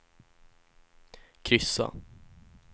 kryssa